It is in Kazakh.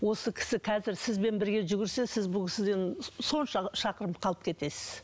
осы кісі қазір сізбен бірге жүгірсе сіз бұл кісіден сонша шақырым қалып кетесіз